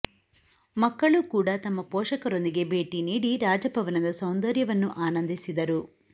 ಮಕ್ಕಳು ಕೂಡ ತಮ್ಮ ಪೊಷಕರೊಂದಿಗೆ ಭೇಟಿ ನೀಡಿ ರಾಜಭವನದ ಸೌಂದರ್ಯವನ್ನು ಆನಂದಿಸಿದರು